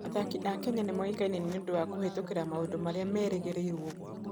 Athaki a Kenya nĩ moĩkaine nĩ ũndũ wa kũhĩtũkĩra maũndũ marĩa merĩgĩrĩirũo gwĩka.